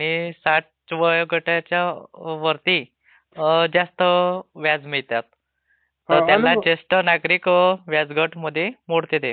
आणि साठ वयोगटाच्या वरती जास्त व्याज मिळतात. त्यांना ज्येष्ठ नागरिक व्याज गटमध्ये मोडते ते.